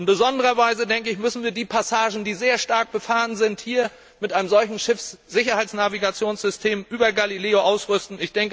In besonderer Weise müssen wir die Passagen, die sehr stark befahren sind, mit einem solchen Schiffssicherheitsnavigationssystem über Galileo ausrüsten.